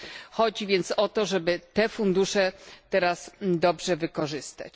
Chodzi więc o to, żeby te fundusze teraz dobrze wykorzystać.